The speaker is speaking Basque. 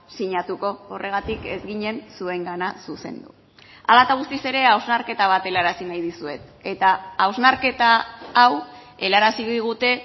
sinatuko horregatik ez ginen zuengana zuzendu hala eta guztiz ere hausnarketa bat helarazi nahi dizuet eta hausnarketa hau helarazi digute